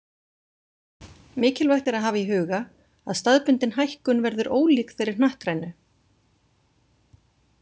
Mikilvægt er að hafa í huga að staðbundin hækkun verður ólík þeirri hnattrænu.